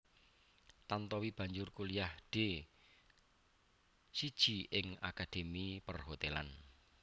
Tantowi banjur kuliah D siji ing akademi Perhotelan